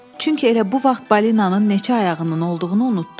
Çünki elə bu vaxt balinanın neçə ayağının olduğunu unutdum.